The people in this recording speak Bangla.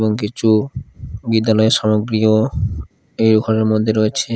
এবং কিছু বিদ্যালয়ের সামগ্রীও এই ওখানের মদ্যে রয়েছে।